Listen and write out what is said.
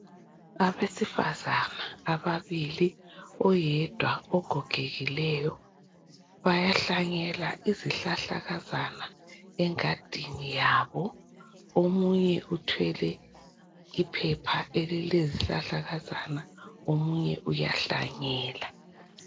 Abesifazana ababili oyedwa ogogekileyo bayahlanyela izihlahlakanzana engadini yabo omunye uthwele iphepha elilezihlahla kanzana omunye uyahlanyela.